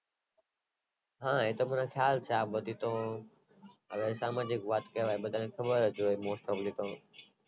હ એતો મને ખ્યાલ છે આ બધી તો હવે તમે જે વાત